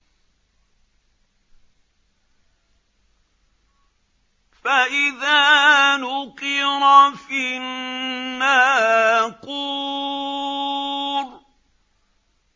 فَإِذَا نُقِرَ فِي النَّاقُورِ